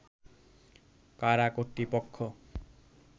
কারা কর্তৃপক্ষ